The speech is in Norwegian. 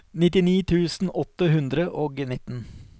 nittini tusen åtte hundre og nitten